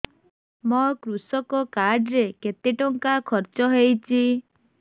ମୋ କୃଷକ କାର୍ଡ ରେ କେତେ ଟଙ୍କା ଖର୍ଚ୍ଚ ହେଇଚି